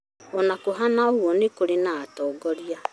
Ona kũhana ũguo nĩkwarĩ na atongoria